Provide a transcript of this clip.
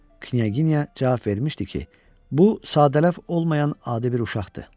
Knyaginya cavab vermişdi ki, bu sadələf olmayan adi bir uşaqdır.